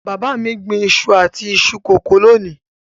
Bàbá mi gbìn iṣu àti iṣu kòkó lónìí.